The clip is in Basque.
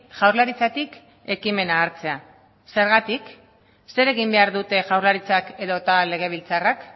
jaurlaritzatik ekimena hartzea zergatik zer egin behar dute jaurlaritzak edota legebiltzarrak